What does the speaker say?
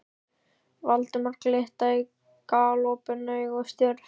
Valdimar glitta í galopin augu og stjörf.